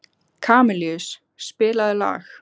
Kamilus, spilaðu lag.